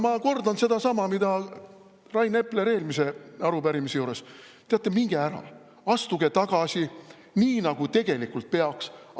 Ma kordan sedasama, mida Rain Epler eelmise arupärimise juures: teate, minge ära, astuge tagasi, nii nagu tegelikult peaks!